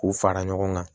K'u fara ɲɔgɔn kan